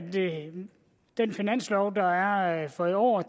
den finanslov der er for i år